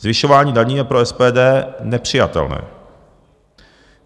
Zvyšování daní je pro SPD nepřijatelné.